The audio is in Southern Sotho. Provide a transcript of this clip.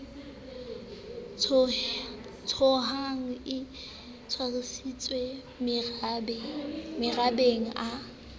tshohang e tshwasitswe marabeng a